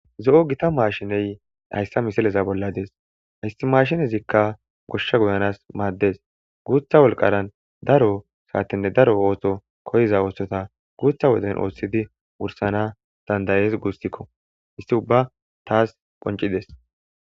Zo7o gita maashiney hayssa misileza bolla dees. Haystimashinezikka goshsha guyanas maaddes. Guutha wolqaran daro saatenne daro ooso koyiza oothota guutha woden oothidi wursana dandayees guussikko histi ubba taas qonccides.